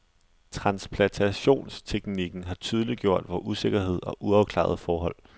Transplantationsteknikken har tydeliggjort vor usikkerhed og uafklarede forhold.